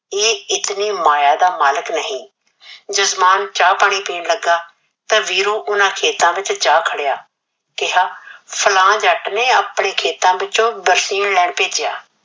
ਇਹ ਇਤਨੀ ਮਾਇਆ ਦਾ ਮਾਲਕ ਨਹੀ। ਜਜਮਾਨ ਚਾਹ ਪਾਣੀ ਪੀਣ ਲੱਗਾ ਤਾਂ ਵੀਰੂ ਉਨ੍ਹਾਂ ਖੇਤਾਂ ਵਿਚ ਜਾ ਖੜਿਆ ਕਿਹਾ, ਸਣਾ ਜੱਟ ਨੇ ਆਪਣੇ ਖੇਤਾਂ ਵਿਚੋਂ ਬਰਫੀ ਲੈਣ ਭੇਜਿਆ।